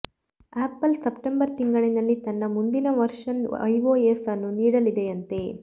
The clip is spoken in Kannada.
ಆಪಲ್ ಸೆಪ್ಟೆಂಬರ್ ತಿಂಗಳಿನಲ್ಲಿ ತನ್ನ ಮುಂದಿನ ವರ್ಷನ್ ಐಓಎಸ್ ಅನ್ನು ನೀಡಲಿದೆಯಂತೆ